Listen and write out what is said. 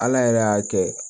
Ala yɛrɛ y'a kɛ